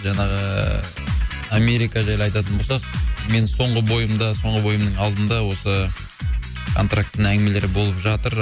жаңағы ыыы америка жайлы айтатын болсақ менің соңғы бойымда соңғы бойымның алдында осы антрактінің әңгімелері болып жатыр